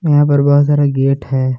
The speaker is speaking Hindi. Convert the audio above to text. यहां पर बहुत सारा गेट है।